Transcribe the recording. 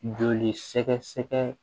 Joli sɛgɛsɛgɛ